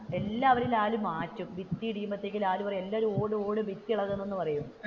എല്ലാവരും ലാൽ മാറ്റും ഭിത്തി ഇടിയുമ്പോഴെത്തെക്ക് ലാൽ പറയും എല്ലാവരും ഓട് ഓട് ഭിത്തി ഇളകുന്നു എന്ന് പറയും.